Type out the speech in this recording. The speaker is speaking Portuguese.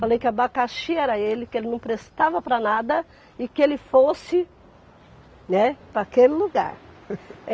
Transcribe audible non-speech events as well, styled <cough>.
Falei que abacaxi era ele, que ele não prestava para nada e que ele fosse, né, para aquele lugar. <laughs>